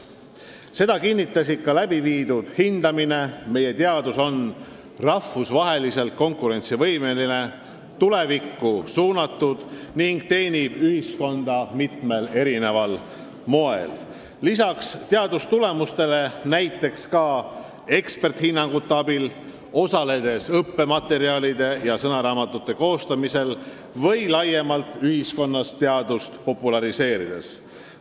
Seda kinnitas ka läbiviidud hindamine: meie teadus on rahvusvaheliselt konkurentsivõimeline, tulevikku suunatud ning teenib ühiskonda mitmel erineval moel, lisaks otsestele teadustulemustele annavad teadlased oma panuse näiteks ka eksperdihinnanguid andes, osaledes õppematerjalide ja sõnaraamatute koostamises või laiemalt ühiskonnas teadust populariseerides.